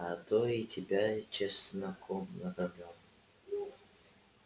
а то и тебя чесноком накормлю